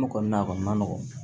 O kɔni na kɔni ma nɔgɔn